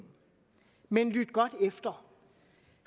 men lyt godt efter